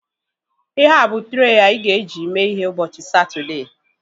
Ihea bụ trei anyị ga-eji mee ihe ụbọchị Satọdee